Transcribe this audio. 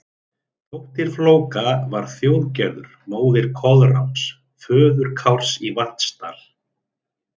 Dóttir Flóka var Þjóðgerður, móðir Koðráns, föður Kárs í Vatnsdal.